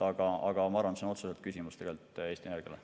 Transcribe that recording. Aga ma arvan, et see on otseselt küsimus Eesti Energiale.